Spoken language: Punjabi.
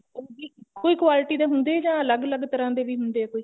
ਉਹ ਵੀ ਇੱਕੋ ਹੀ quality ਦੇ ਹੁੰਦੇ ਜਾ ਅਲੱਗ ਅਲੱਗ ਤਰ੍ਹਾਂ ਦੇ ਵੀ ਹੁੰਦੇ ਕੋਈ